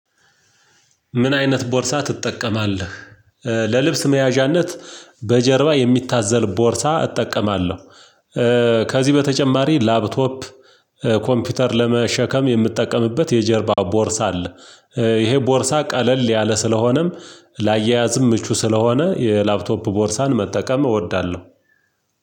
ምን አይነት ቦርሳ ትጠቀማለህ? ለልብስ መያዣነት በጀርባ የሚታዘል ቦርሳ እጠቀማለሁ። ከዚህ በተጨማሪ ላፕቶፕ ኮምፒውተር ለመሸከም የምጠቀምበት የጀርባ ቦርሳ አለ። ይሄ ቦርሳ ቀለል ያለ ስለሆነም ላያያዝም ምቹ ስለሆነ የላፕቶፕ ቦርሳን መጠቀም እወዳለሁ።